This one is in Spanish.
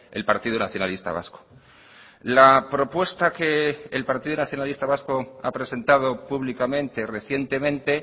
el partido nacionalista vasco la propuesta que el partido nacionalista vasco ha presentado públicamente recientemente